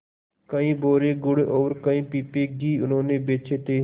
कई बोरे गुड़ और कई पीपे घी उन्होंने बेचे थे